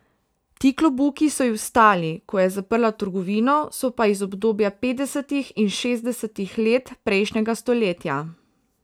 Ti klobuki so ji ostali, ko je zaprla trgovino, so pa iz obdobja petdesetih in šestdesetih let prejšnjega stoletja.